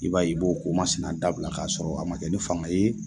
I b'a ye, i b'o ko ma sina dabila k'a sɔrɔ a ma kɛ ni fanga ye